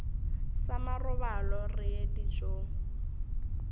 sa marobalo re ye dijong